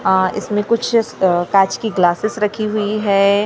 आआ इस में कुछ काँच की ग्लासेज रखी हुई हैं अ--